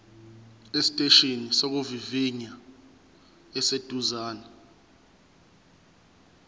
esiteshini sokuvivinya esiseduze